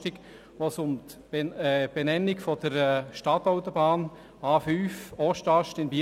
Es ging um das A5-Teilstück «Ostast» in Biel.